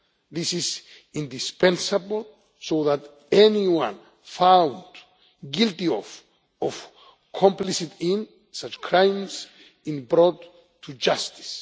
This is indispensable so that anyone found guilty of complicity in such crimes is brought to justice.